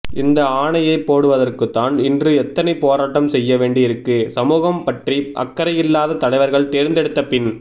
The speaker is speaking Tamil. இந்த ஆணையை போடுவதுற்குதான் இன்று எத்தனை போராட்டம் செய்ய வேண்டியிருக்கு சமூகம் பற்றி அக்கறையில்லாத தலைவர்களை தேர்ந்தெடுத்த பின்